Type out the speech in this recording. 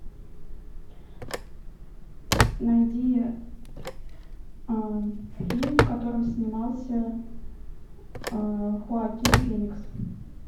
найди фильм в котором снимался хоакин феникс